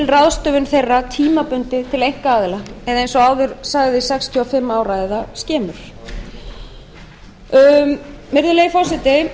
ráðstöfun þeirra tímabundið til einkaaðila eða eins og áður sagði sextíu og fimm ár eða skemur virðulegi forseti